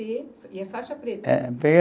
e é faixa preta. É.